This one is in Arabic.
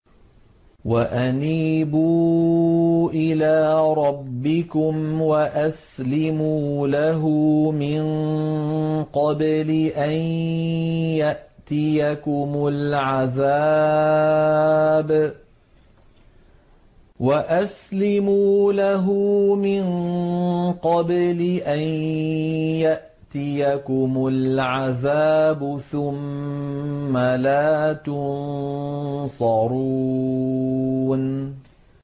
وَأَنِيبُوا إِلَىٰ رَبِّكُمْ وَأَسْلِمُوا لَهُ مِن قَبْلِ أَن يَأْتِيَكُمُ الْعَذَابُ ثُمَّ لَا تُنصَرُونَ